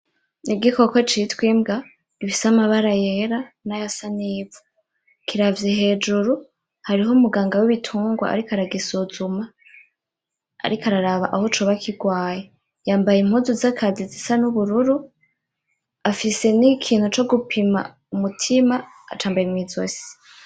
Igikoko citwa imbwa gifise amabara yera nayasa neza, kiravye hejuru. Hariho umuganga wibitungwa ariko aragisuzuma, ariko araraba aho coba kirwaye. Yambaye impuzu zakazi zisa nubururu. Afise nikintu cogupima umutima, acambaye mw'izosi.